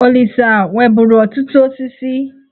Olisa nweburu ọtụtụ osisi.